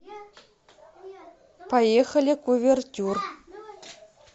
поехали кувертюр